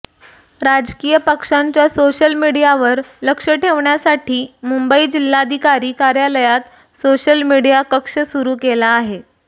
राजकीय पक्षांच्या सोशल मीडियावर लक्ष ठेवण्यासाठी मुंबई जिल्हाधिकारी कार्यालयात सोशल मीडिया कक्ष सुरू केला आहे